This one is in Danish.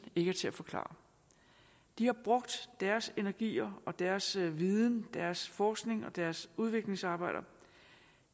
ikke er til at forklare de har brugt deres energier og deres viden og deres forskning og deres udviklingsarbejder